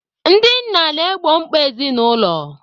Ndị nna na-egbo mkpa ezinụlọ.